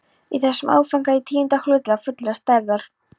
Í þessum áfanga í tíunda hluta fullrar stærðar.